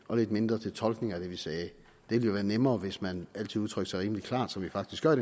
og lidt mindre til tolkningen af det vi sagde det ville være nemmere hvis man altid udtrykte sig rimelig klart som vi faktisk gør